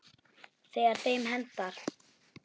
Þegar þeim hentar.